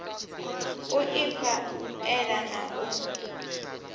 u ifha ela na u